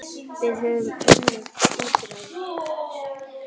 Við höfum önnur úrræði.